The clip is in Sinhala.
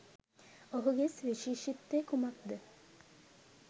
ඔහුගේ සුවිශේෂීත්වය කුමක්ද?